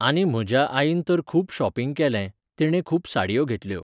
आनी म्हज आईन तर खूब शॉपींग केलें, तिणें खूब साडयो घेतल्यो.